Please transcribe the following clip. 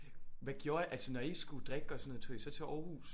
Hvad gjorde I altså når I skulle drikke og sådan noget tog I så til Aarhus